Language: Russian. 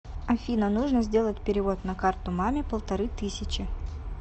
афина нужно сделать перевод на карту маме полторы тысячи